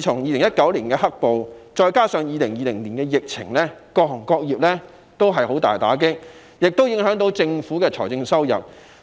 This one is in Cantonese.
從2019年出現"黑暴"，再加上2020年的疫情，各行各業受到嚴重打擊，政府的財政收入亦受到影響。